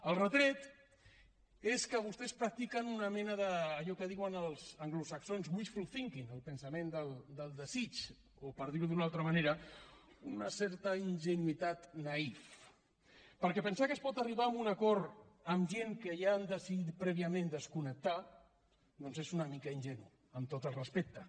el retret és que vostès practiquen una mena d’allò que en diuen els anglosaxons wishful thinking el pensament del desig o per dir ho d’una altra manera una certa ingenuïtat naïf perquè pensar que es pot arribar a un acord amb gent que ja han decidit prèviament desconnectar és una mica ingenu amb tot el respecte